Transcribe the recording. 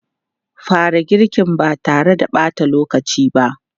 Fara girkin ba tare da ɓata lokaci ba!